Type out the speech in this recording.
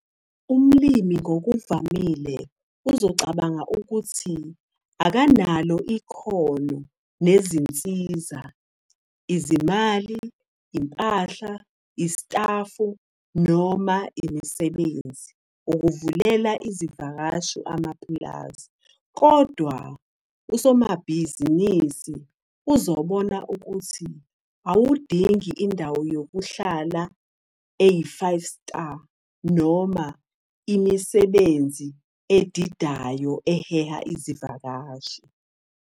Umlimi ngokuvamile uzocabanga ukuthi akanalo ikhono nezinsiza, izimali, impahla, isitafu noma imisebenzi, ukuvulela izivakashi amapulazi. Kodwa, usomabhizinisi uzobona ukuthi awudingi indawo yokuhlala eyi-five-star noma imisebenzi edidayo eheha izivakashi.